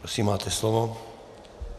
Prosím, máte slovo.